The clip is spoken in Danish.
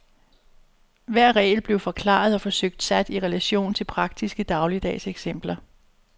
Hver regel blev forklaret og forsøgt sat i relation til praktiske dagligdags eksempler.